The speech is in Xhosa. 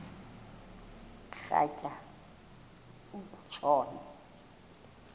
rhatya uku tshona